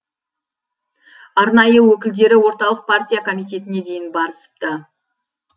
арнайы өкілдері орталық партия комитетіне дейін барысыпты